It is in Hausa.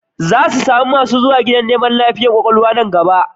Za samu masu zuwa gidan lafiyar kwakwalwa da yawa a nan gaba